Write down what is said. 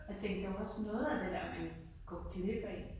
Jeg tænker jo også noget af det der man går glip af